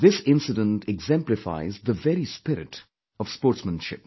This incident exemplifies the very spirit of sportsmanship